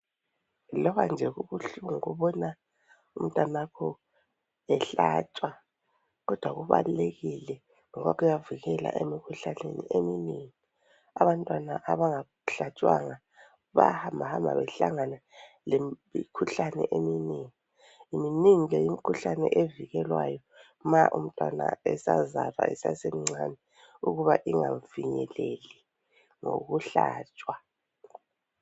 Loba nje kubuhlungu ukubona umntanakho ehlatshwa, kodwa kubalulekile ngoba kuyavikela emikhuhlaneni eminengi. Abantwana abangahlatshwanga bayahambahamba behlangana lemikhuhlane eminengi. Miningi ke imikhuhlane evikelwayo ma umntwana esazalwa esasemncani, ukuba ingamfinyeleli ngokuhlatshwa.